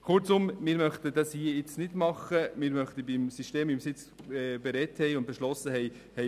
Kurzum: Wir möchten beim System bleiben, das wir besprochen und beschlossen haben.